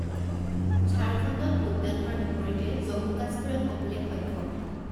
ঝাৰখণ্ডত ভোটদান হোৱাৰ বিপৰীতে জম্মু কাশ্মীৰত অভিলেখ সংখ্যক